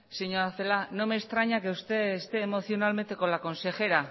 señora celaá no me extraña que usted esté emocionalmente con la consejera